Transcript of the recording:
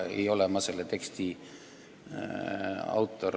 Ei ole ma selle teksti autor.